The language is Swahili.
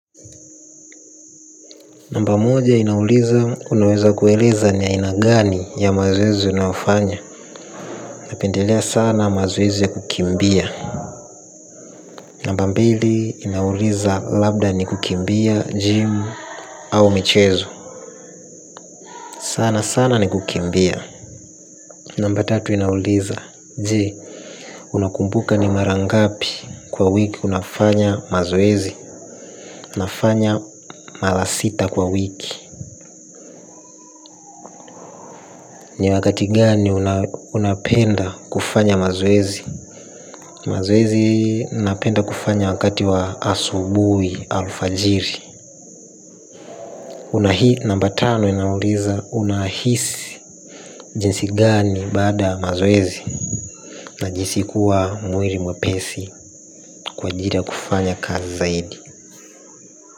Namba moja inauliza unaweza kueleza ni aina gani ya mazoezi unayofanya. Napendelea sana mazoezi ya kukimbia. Namba mbili inauliza labda ni kukimbia gym au michezo. Sana sana ni kukimbia. Namba tatu inauliza. Jee unakumbuka ni mara ngapi kwa wiki unafanya mazoezi nafanya mala sita kwa wiki. Ni wakati gani unapenda kufanya mazoezi. Mazoezi napenda kufanya wakati wa asubui alfajiri kuna hii namba tano inauliza unahisi jinsi gani baada ya mazoezi. Najihisi kuwa mwiri mwepesi kwa ajiri ya kufanya kazi zaidi.